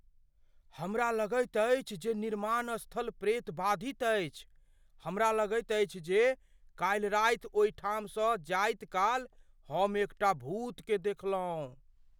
हमरा लगैत अछि जे निर्माण स्थल प्रेतबाधित अछि। हमरा लगैत अछि जे काल्हि रात ओहिठाम सँ जाइत काल हम एकटा भूतकेँ देखलहुँ।